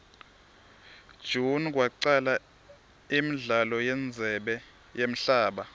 june kwacala imdlalo yendzebe yemhaba